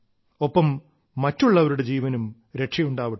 ഒപ്പം മറ്റുള്ളവരുടെ ജീവനും രക്ഷയുണ്ടാവട്ടെ